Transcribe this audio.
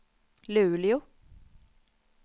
Luleå